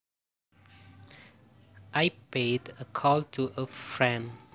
I paid a call to a friend